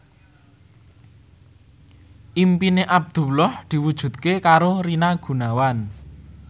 impine Abdullah diwujudke karo Rina Gunawan